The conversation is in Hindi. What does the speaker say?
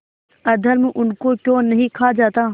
अधर्म उनको क्यों नहीं खा जाता